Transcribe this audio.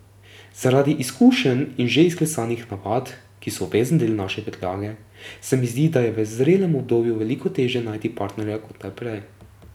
Zaradi izkušenj in že izklesanih navad, ki so obvezen del naše prtljage, se mi zdi, da je v zrelem obdobju veliko teže najti partnerja kot kdaj prej.